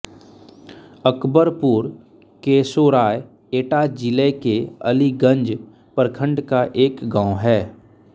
अकबरपुर केशोराय एटा जिले के अलीगंज प्रखण्ड का एक गाँव है